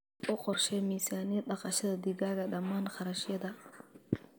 U qorshee miisaaniyad dhaqashada digaaga dhammaan kharashyada.